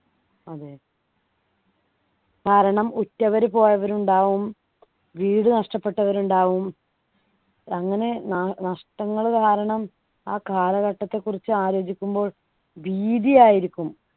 അതെ കാരണം ഉറ്റവര് പോയവരുണ്ടാവും വീട് നഷ്ടപ്പെട്ടവർ ഉണ്ടാവും അങ്ങനെ ന നഷ്ടങ്ങൾ കാരണം ആ കാലഘട്ടത്തെക്കുറിച്ച് ആലോചിക്കുമ്പോൾ ഭീതി ആയിരിക്കും